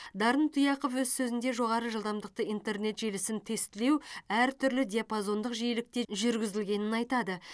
дарын тұяқов өз сөзінде жоғары жылдамдықты интернет желісін тестілеу әртүрлі диапазондық жиілікте жүргізілгенін айтады